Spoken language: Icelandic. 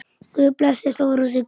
Guð blessi Þóru og Sigga.